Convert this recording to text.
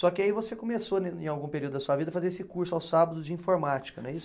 Só que aí você começou né, em algum período da sua vida, a fazer esse curso aos sábados de informática, não é isso?